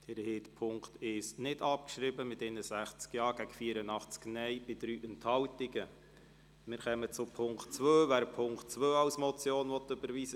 Sie haben den Punkt 2 mit 94 Ja- gegen 46 Nein-Stimmen bei 8 Enthaltungen überwiesen.